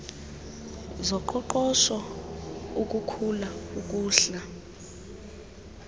zoqoqosho ukukhula ukuhla